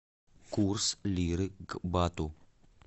курс лиры к бату